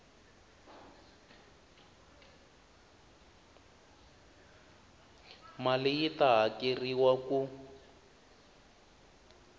mali yi ta hakeriwa ku